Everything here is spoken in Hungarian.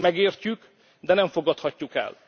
Ezt megértjük, de nem fogadhatjuk